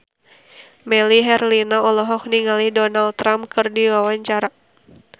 Melly Herlina olohok ningali Donald Trump keur diwawancara